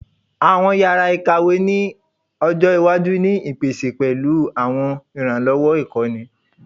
Awọn yara ikawe ni ojo iwaju le ni ipese pẹlu awọn iranlọwọ ikọni